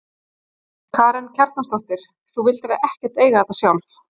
Karen Kjartansdóttir: Þú vildir ekkert eiga þetta sjálf?